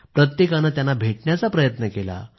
प्रत्येकाने भेटण्याचा प्रयत्न केला